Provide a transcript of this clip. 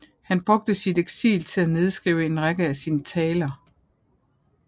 Han brugte sit eksil til at nedskrive en række af sine taler